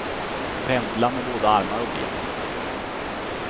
Pendla med både armar och ben.